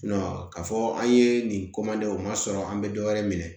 ka fɔ an ye nin o ma sɔrɔ an be dɔ wɛrɛ minɛ